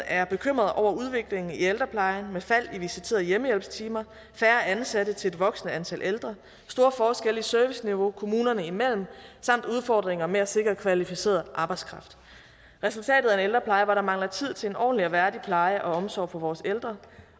er bekymret over udviklingen i ældreplejen med fald i visiterede hjemmehjælpstimer færre ansatte til et voksende antal ældre store forskelle i serviceniveau kommunerne imellem samt udfordringerne med at sikre kvalificeret arbejdskraft resultatet er en ældrepleje hvor der mangler tid til en ordentlig og værdig pleje og omsorg for vores ældre